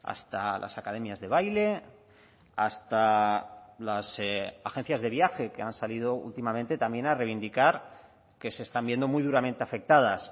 hasta las academias de baile hasta las agencias de viaje que han salido últimamente también a reivindicar que se están viendo muy duramente afectadas